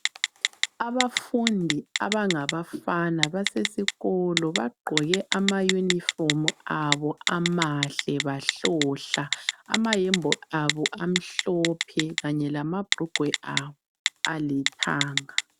Abafundi abangabafana basesikolo. Bagqoke ama uniform abo, amahle, bahlohla! Amayembe abo amhlophe, kanye lamabrugwe abo, alithanga.